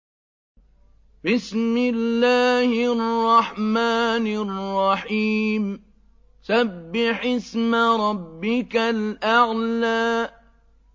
سَبِّحِ اسْمَ رَبِّكَ الْأَعْلَى